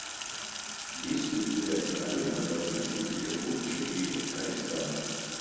есть ли у тебя кинолента бандитский петербург четыре арестант